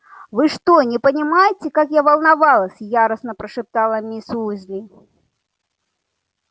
вы что не понимаете как я волновалась яростно прошептала мисс уизли